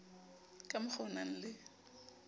ka mokgwa o nang le